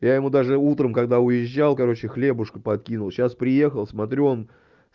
я ему даже утром когда уезжал короче хлебушка подкинул сейчас приехал смотрю он